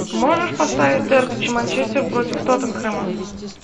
можешь поставить дерби манчестер против тоттенхэма